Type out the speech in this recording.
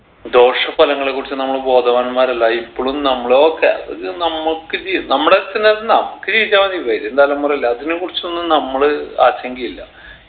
ദോശ ഫലങ്ങളെ കുറിച്ച് നമ്മള് ബോധവാന്മാരല്ല ഇപ്പളും നമ്മള് okay ഒരു നമ്മക്ക് ജീവ് നമ്മടെ എന്ന നമ്മക്ക് ജീവിച്ച മതി വരും തലമുറയല്ലേ അതിനെ കുറിച്ചൊന്നും നമ്മള് ആശങ്കയില്ല